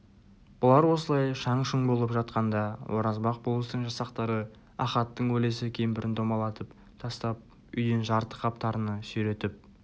бұлар осылай шаң-шұң болып жатқанда оразбақ болыстың жасақтары ахаттың өлесі кемпірін домалатып тастап үйден жарты қап тарыны сүйретіп